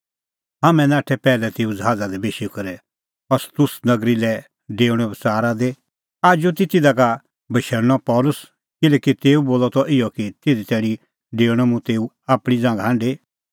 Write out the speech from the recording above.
हाम्हैं नाठै पैहलै तेऊ ज़हाज़ा दी बेशी करै अस्सुस नगरी लै डेऊणे बच़ारा दी आजू कि तिधा का बशैल़णअ पल़सी किल्हैकि तेऊ बोलअ त इहअ कि तिधी तैणीं डेऊणअ तेऊ आपणीं ज़ांघा हांढी